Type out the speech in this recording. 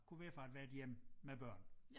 Kunne være fra ethvert hjem med børn